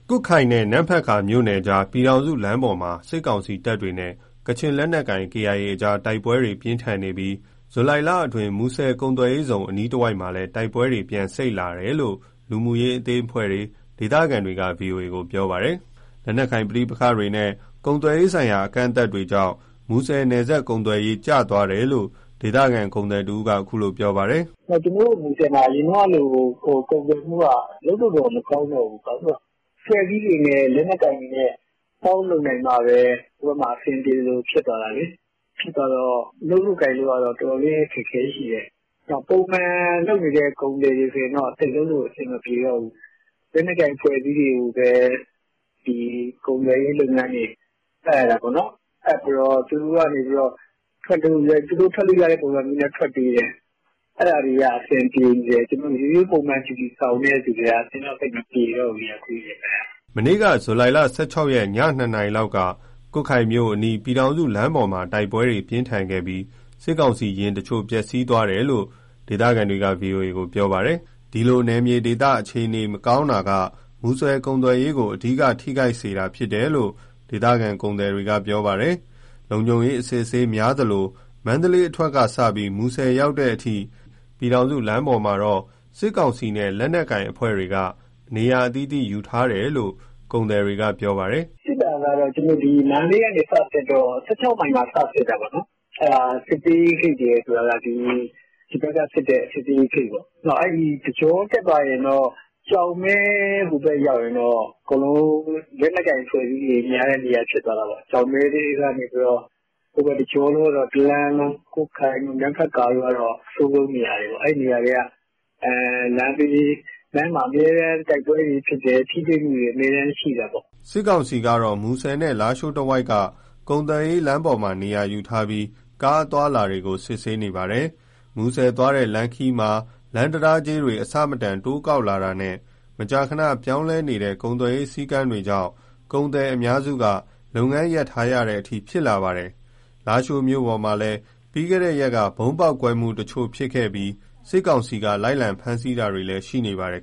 ကွတ်ခိုင်နဲ့ နမ့်ဖတ်ကာ မြို့နယ်ကြားက ပြည်ထောင်စုလမ်းပေါ်မှာ စစ်ကောင်စီတပ်တွေနဲ့ ကချင်လက်နက်ကိုင် KIA အကြား တိုက်ပွဲပြင်းထန်နေပြီး ဇူလိုင်လ အတွင်း မူဆယ်ကုန်သွယ်ရေးဇုန် အနီးတဝိုက်မှာလည်း တိုက်ပွဲတွေ ပြန်စိပ်လာတယ်လို့ လူမှုရေး အသင်းအဖွဲ့တွေ၊ ဒေသခံတွေကဗွီအိုအေကို ပြောပါတယ်။ လက်နက်ကိုင်ပဋိပက္ခတွေ နဲ့ ကုန်သွယ်ရေးဆိုင်ရာ အကန့်အသတ်တွေကြောင့် မူဆယ်နယ်စပ် ကုန်သွယ်ရေး ကျသွားတယ်လို့ ဒေသခံ ကုန်သည်တဦးက ပြောပါတယ်။ " ကျနော်တို့မူဆယ်မှာ အရင်ကလို ကုန်သွယ်မှုက လုပ်လို့တော့ မကောင်းတော့ဘူး၊ အဖွဲ့အစည်းတွေ လက်နက်ကိုင်တွေနဲ့ ပေါင်းလုပ်နိုင်မှပဲ ဟိုဘက်မှာ အဆင်ပြေသလို ဖြစ်သွားတာလေ။ ပုံမှန်လုပ်နေတဲ့ ကုန်သည်တွေဆိုရင် သိပ်လုပ်လို့ အဆင်မပြေတော့ဘူး။ လက်နက်ကိုင် အဖွဲ့အစည်းတွေကိုပဲ ဒီကုန်သွယ်ရေး လုပ်ငန်းတွေ အပ်ရတာပေါ့နော်။ အပ်ပြီးတော့ သူတို့ကနေပြီးတော့ သူတို့ထွက်လို့ကတဲ့ ပုံစံမျိုးနဲ့ ထွက်ပေးတယ်။ အဲဒါတွေက အဆင်ပြေနေတယ်။ ရိုးရိုး ဂျူတီဆောင်တဲ့သူတွေက အဆင်မပြေတော့ဘူး အခုရက်ပိုင်း။” မနေ့က ဇူလိုင် ၁၆ ရက် ည ၂နာရီလောက်က ကွတ်ခိုင်မြို့အနီး ပြည်ထောင်စုလမ်းပေါ်မှာ တိုက်ပွဲ ပြင်းထန်ခဲ့ပြီး စစ်ကောင်စီယာဉ်တချို့ ပျက်စီးသွားတယ်လို့ ဒေသခံတွေက ဗွီအိုအေကို ပြောပါတယ်။ ဒီလို နယ်မြေဒေသ အခြေအနေ မအေးချမ်းတာက မူဆယ်ကုန်သွယ်ရေးကို အဓိက ထိခိုက်စေတာ ဖြစ်တယ်လို့ ဒေသခံ ကုန်သည်တွေက ပြောပါတယ်။ လုံခြုံရေး အစစ်အဆေးများသလို၊ မန္တလေး အထွက်ကစပြီး မူဆယ်ရောက်တဲ့အထိ ပြည်ထောင်စုလမ်းပေါ်မှာတော့ စစ်ကောင်စီနဲ့ လက်နက်ကိုင်အဖွဲ့တွေ အသီးသီး နေရာယူထားကြတယ်လို့ ကုန်သည်တွေက ပြောပါတယ်။ ” စစ်တာကတော့ မန္တလေးကနေ စတက်တော့ ၁၆ မိုင်မှာ စစ်တာပေါ့နော်။ ဒီဘက် (စကစလုပ်တဲ့) စစ်ဆေးရေးဂိတ်ပေါ့။ အဲဒီတကြော တက်သွားရင်တော့ ဟိုဘက်ရောက်ရင် အကုန်လုံး လက်နက်ကိုင် အဖွဲ့အစည်းတွေများတဲ့ နေရာ ဖြစ်သွားတာပေါ့။ ကျောက်မဲကနေ ဟိုဘက်တလမ်းလုံး နမ့်ဖတ်ကာတို့က အဆိုးဆုံး နေရာတွေပေါ့။ အဲနေရာတွေက လမ်းမှာ အမြဲ တိုက်ပွဲတွေဖြစ်တယ်။ ထိတွေမှုတွေအမြဲတမ်း ရှိတာပေါ့။” စစ်ကောင်စီကတော့ မူဆယ်နဲ့ လားရှိုး တဝိုက်က ကုန်သွယ်ရေးလမ်းပေါ်မှာ လုံခြုံရေး ယူထားပြီး ကားအသွားအလာတွေကို စစ်ဆေးနေပါတယ်။ မူဆယ်သွားတဲ့ လမ်းခရီးမှာ လမ်းတံတားကြေးတွေ အဆမတန် တိုးကောက်လာတာနဲ့ မကြာခဏ ပြောင်းလဲနေတဲ့ ကုန်သွယ်ရေး စည်းကမ်းတွေကြောင့် ကုန်သည်အများစုက လုပ်ငန်းရပ်ထားရတဲ့အထိ ဖြစ်လာပါတယ်။ လားရှိုးမြို့ပေါ်မှာလည်း ပြီးခဲ့တဲ့ရက်က ဗုံးပေါက်ကွဲမှုတချို့ရှိပြီး စစ်ကောင်စီက လိုက်လံ ဖမ်းဆီးတာတွေလည်း ရှိ နေပါတယ်